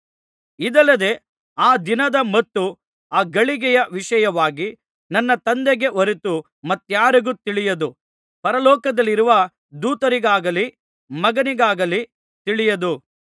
ಇದಲ್ಲದೆ ಆ ದಿನದ ಮತ್ತು ಆ ಗಳಿಗೆಯ ವಿಷಯವಾಗಿ ನನ್ನ ತಂದೆಗೆ ಹೊರತು ಮತ್ತಾರಿಗೂ ತಿಳಿಯದು ಪರಲೋಕದಲ್ಲಿರುವ ದೂತರಿಗಾಗಲಿ ಮಗನಿಗಾಗಲಿ ತಿಳಿಯದು